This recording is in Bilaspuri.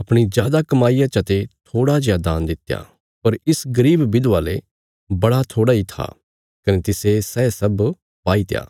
अपणी जादा कमाईया चा ते थोड़ा जेआ दान दित्या पर इस गरीब विधवा ले बड़ा थोड़ा इ था कने तिसे सै सब पाईत्या